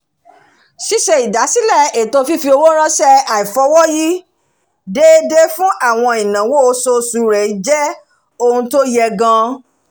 ṣíṣe ìdásílẹ̀ ètò fífi owó ránṣẹ́ aifọwọyi déédéé fún àwọn ìnáwó oṣooṣù rẹ jẹ́ ohun tó yẹ gan-an